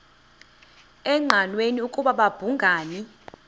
engqanweni ukuba babhungani